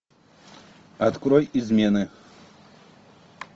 открой измены